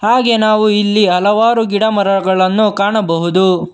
ಹಾಗೆ ನಾವು ಇಲ್ಲಿ ಹಲವಾರು ಗಿಡಮರಗಳನ್ನು ಕಾಣಬಹುದು.